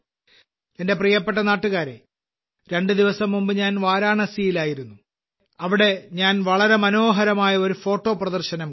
എന്റെ പ്രിയപ്പെട്ട നാട്ടുകാരേ രണ്ട് ദിവസം മുമ്പ് ഞാൻ വരാണസിയിൽ ആയിരുന്നു അവിടെ ഞാൻ വളരെ മനോഹരമായ ഒരു ഫോട്ടോ പ്രദർശനം കണ്ടു